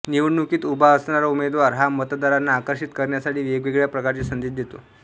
निवडणुकीत उभा असणारा उमेदवार हा मतदारांना आकर्षित करण्यासाठी वेगवेगळ्या प्रकारचे संदेश देतो